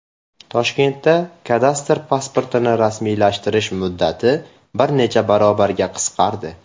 Toshkentda kadastr pasportini rasmiylashtirish muddati bir necha barobarga qisqardi.